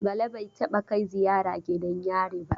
Bala bai taɓa kai ziyara gidan yari ba.